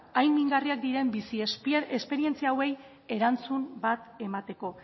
hain mingarriak diren bizi esperientzia hauei erantzun bat emateko